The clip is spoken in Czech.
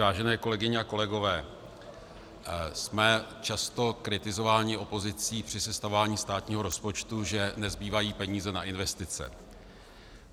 Vážené kolegyně a kolegové, jsme často kritizováni opozicí při sestavování státního rozpočtu, že nezbývají peníze na investice.